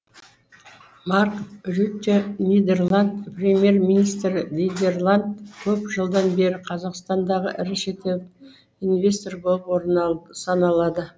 марк рютте нидерланд премьер министрі нидерланд көп жылдан бері қазақстандағы ірі шетел инвестор болып саналады